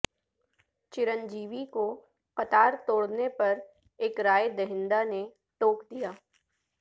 چرنجیوی کو قطار توڑنے پر ایک رائے دہندہ نے ٹوک دیا